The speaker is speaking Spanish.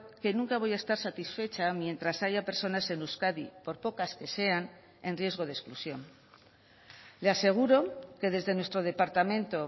que nunca voy a estar satisfecha mientras haya personas en euskadi por pocas que sean en riesgo de exclusión le aseguro que desde nuestro departamento